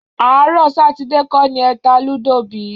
Àárọ̀ Sátidé kọ́ ni ẹ ta lúdò bí?